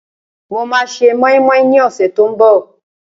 Mo máa se mọ́ínmọ́ín ní ọ̀sẹ̀ tí ó ń bọ̀